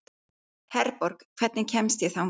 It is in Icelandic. Herborg, hvernig kemst ég þangað?